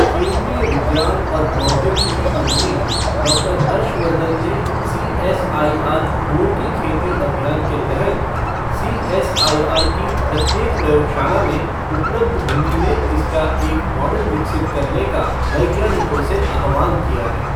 केन्द्रीय विज्ञान और प्रौद्योगिकी मंत्री डॉक्टर हर्षवर्धन ने सीएसआईआर फूलों की खेती अभियान के तहत सीएसआईआर की प्रत्येक प्रयोगशाला में उपलब्ध भूमि में इसका एक मॉडल विकसित करने का वैज्ञानिकों से आह्वान किया है।